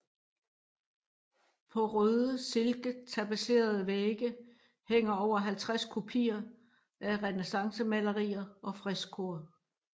På røde silketapetserede vægge hænder over halvtreds kopier af renæssancemalerier og freskoer